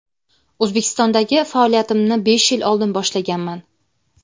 O‘zbekistondagi faoliyatimni besh yil oldin boshlaganman.